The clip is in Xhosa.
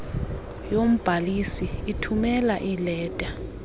yombhalisi ithumela iileta